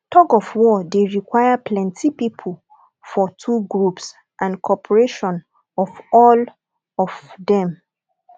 tugofwar de require plenty pipo for two groups and coorperation of all of dem